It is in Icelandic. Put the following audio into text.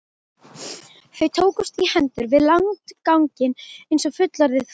Þau tókust í hendur við landganginn eins og fullorðið fólk.